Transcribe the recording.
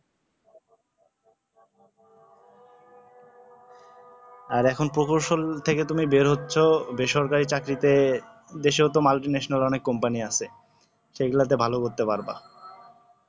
আর এখন profession থেকে তুমি বের হচ্ছও বেসরকারি চাকরিতে বিশেষত multinational company আছে সেগুলোতে ভাল করতে পারবা